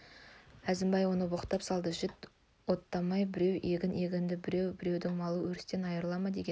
әзімбай оны боқтап салды жат оттамай біреу егін егеді деп біреудің малы өрістен айрыла ма деген